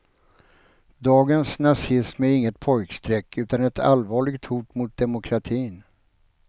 Dagens nazism är inget pojkstreck utan ett allvarligt hot mot demokratin.